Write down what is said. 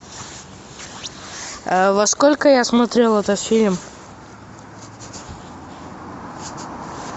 во сколько я смотрел этот фильм